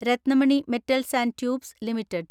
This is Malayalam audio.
Ratnamani metals and tubes limited